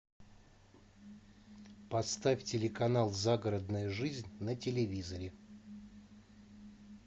поставь телеканал загородная жизнь на телевизоре